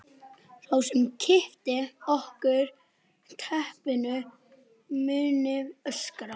Sá sem kippi af okkur teppinu muni öskra.